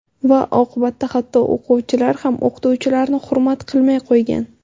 Va oqibatda hatto o‘quvchilar ham o‘qituvchilarni hurmat qilmay qo‘ygan.